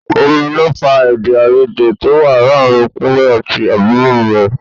Omi ló fa èdè-áiyedé tó wà láàárín Kúnlẹ́ àti àbúrò rẹ̀.